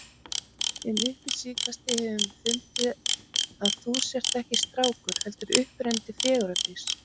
En upp á síðkastið hefur mér fundist að þú sért ekki strákur, heldur upprennandi fegurðardís.